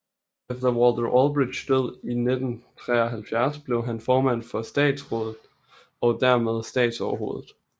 Efter Walter Ulbrichts død i 1973 blev han formand for Statsraat og dermed statstoverhoved